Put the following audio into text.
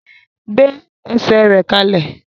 Gbé esè rẹ kalẹ!